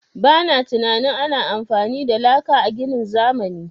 Ba na tunanin ana amfani da laka a ginin zamani.